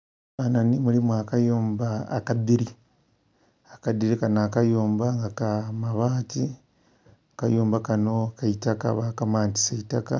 Mu kifananhi mulimu akayumba akadhiri, akadhiri kanho akayumba nga ka mabati akayumba kanho ka itaka bakamantisa itaka